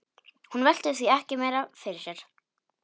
Hún velti því ekki meira fyrir sér.